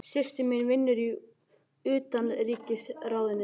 Systir mín vinnur í Utanríkisráðuneytinu.